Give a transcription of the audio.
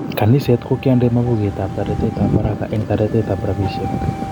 Kaniset kokiende mapuket ab toretet ab haraka eng toretet ab rabisiek